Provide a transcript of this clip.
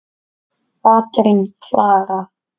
Katrín Klara.